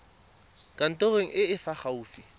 kantorong e e fa gaufi